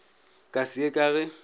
ka se ye ka ge